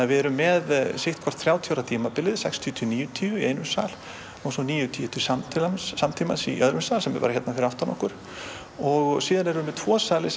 við erum með sitt hvort þrjátíu ára tímabilið sextíu til níutíu í einum sal og svo níutíu til samtímans samtímans í öðrum sal sem er bara hérna fyrir aftan okkur síðan erum við með tvo sali